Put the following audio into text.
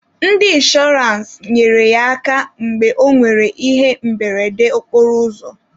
Ndị inshọrance nyere ya aka mgbe ọ nwere ihe mberede okporoụzọ.